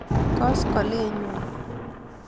Koskolinyuni.